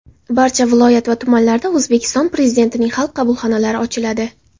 Barcha viloyat va tumanlarda O‘zbekiston Prezidentining xalq qabulxonalari ochiladi.